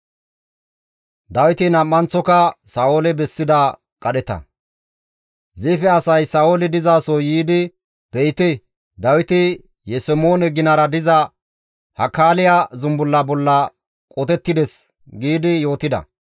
Ziife asay Sa7ooli dizaso yiidi, «Be7ite Dawiti Yesemoone ginara diza Hakaaliya zumbulla bolla qotettides» giidi yootida.